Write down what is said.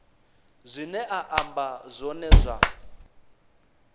zwine a amba zwone zwa